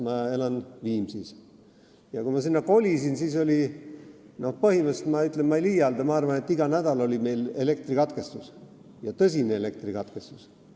Ma elan Viimsis ja kui ma sinna kolisin, siis oli meil põhimõtteliselt igal nädalal – ja ma ei liialda – tõsine elektrikatkestus.